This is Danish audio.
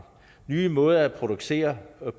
nye måder at producere